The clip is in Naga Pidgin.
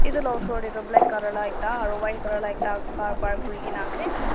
edu la osor tae toh black colour la ekta aro white colour la ekta car park kurikae naase.